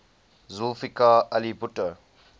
zulfikar ali bhutto